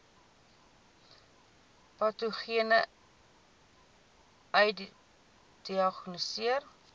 patogene ai gediagnoseer